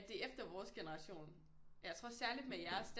Det er efter vores generation jeg tror særligt med jeres